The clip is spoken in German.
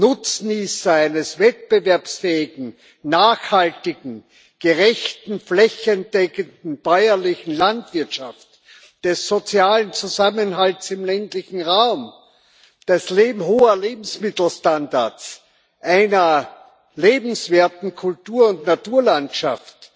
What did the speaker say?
Nutznießer einer wettbewerbsfähigen, nachhaltigen, gerechten und flächendeckenden bäuerlichen Landwirtschaft, des sozialen Zusammenhalts im ländlichen Raum, hoher Lebensmittelstandards, einer lebenswerten Kultur und Naturlandschaft,